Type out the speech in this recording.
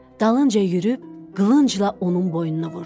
Dalınca yürüyüb, qılıncla onun boynuna vurdu.